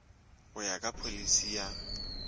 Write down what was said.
go ya ka pholisi ya